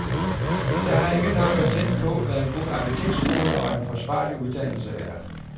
Jeg har ikke noget patent på, hvad en god arkitektskole og en forsvarlig uddannelse er.